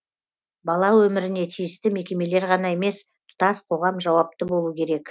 бала өміріне тиісті мекемелер ғана емес тұтас қоғам жауапты болу керек